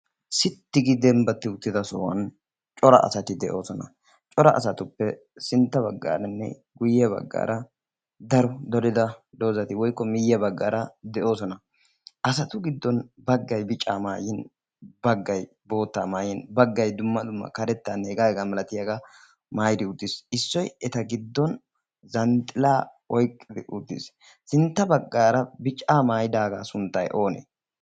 sitti gi dembbatti uttida sohuwan cora asati de'oosona. cora asatuppe sintta baggaaranne guyye baggaara daro dorida doozati woikko miyya baggaara de'oosona. asatu giddon baggay bica maayin baggay boottaa maayyin baggay dumma dumma karettan hegaa egaa malatiyaagaa maaidi uttiis. issoy eta giddon zanxxila oiqqidi utiis. sintta baggaara bica maaidaagaa sunttay oonee